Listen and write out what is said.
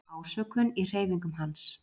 Ásökun í hreyfingum hans.